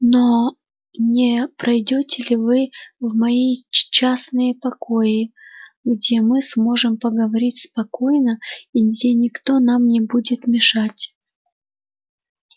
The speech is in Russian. но не пройдёте ли вы в мои частные покои где мы сможем поговорить спокойно и где никто нам не будет мешать